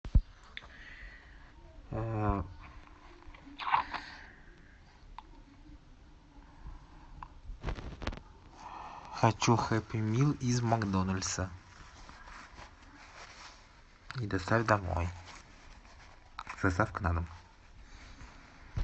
хочу хэппимилл из макдональдса и доставь домой с доставкой на дом